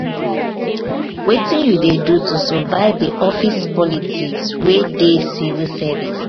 wetin you dey do to survive di office politics wey dey civil service?